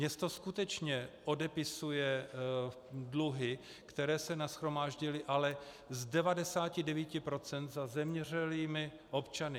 Město skutečně odepisuje dluhy, které se nashromáždily, ale z 99 % za zemřelými občany.